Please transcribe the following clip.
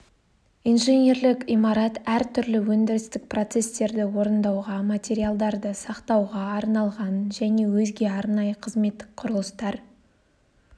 инженерлік имарат әр түрлі өндірістік процестерді орындауға материалдарды сақтауға арналған және өзге арнайы қызметтік құрылыстар